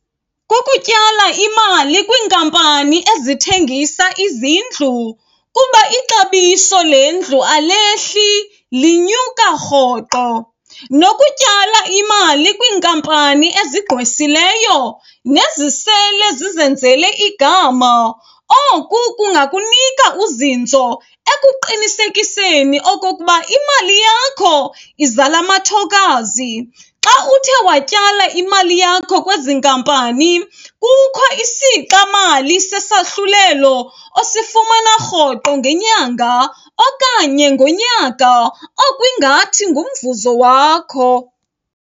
Kukutyala imali kwiinkampani ezithengisa izindlu, kuba ixabiso lendlu alehli linyuka rhoqo. Nokutyala imali kwiinkampani ezigqwesileyo nezisele zizenzele igama, oku kungakunika uzinzo ekuqinisekiseni okokuba imali yakho izala amathokazi. Xa uthe watyala imali yakho kwezi nkampani kukho isixamali sesahlulelo osifumana rhoqo ngenyanga okanye ngonyaka, okwingathi ngumvuzo wakho.